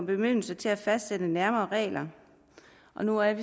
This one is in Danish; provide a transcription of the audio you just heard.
bemyndigelse til at fastsætte nærmere regler og nu er